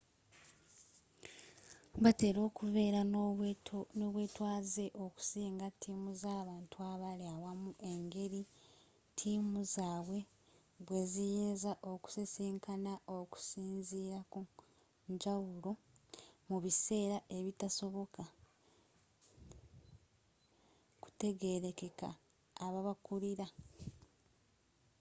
batera okubeera n'obwetwaaze okusinga tiimu z'abantu abali awamu engeri tiimu zaabwe bwe ziyinza okusisinkana okusinziira ku njawulo mu biseera ekitasoboka kutegerekeka ababakulira